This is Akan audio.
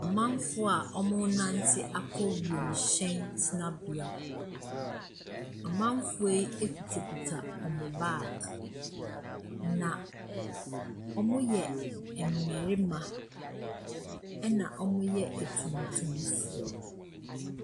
Amanfoɔ a wɔrenante akɔ wiemhyɛn tenabea. Amanfoɔ yi kutakuta wɔn bag, na wɔyɛ mmarima, ɛnna wɔyɛ atuntumfoɔ.